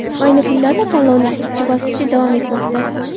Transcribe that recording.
Ayni kunlarda tanlovning ikkinchi bosqichi davom etmoqda.